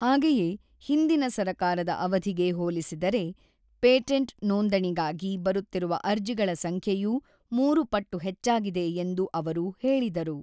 ಹಾಗೆಯೇ, ಹಿಂದಿನ ಸರಕಾರದ ಅವಧಿಗೆ ಹೋಲಿಸಿದರೆ, ಪೇಟೆಂಟ್ ನೋಂದಣಿಗಾಗಿ ಬರುತ್ತಿರುವ ಅರ್ಜಿಗಳ ಸಂಖ್ಯೆಯೂ ಮೂರು ಪಟ್ಟು ಹೆಚ್ಚಾಗಿದೆ ಎಂದು ಅವರು ಹೇಳಿದರು.